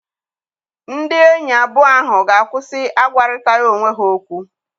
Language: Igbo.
Ndị enyi abụọ ahụ ga-akwụsị agwarịtaghị onwe ha okwu.